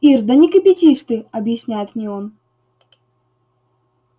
ир да не кипятись ты объясняет мне он